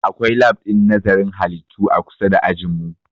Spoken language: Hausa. Akwai lab ɗin nazarin halittu a kusa da ajin mu